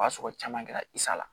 O y'a sɔrɔ caman kɛra la